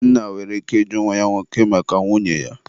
nna nwere ike ịjụ nwa ya nwoke maka nwunye ya.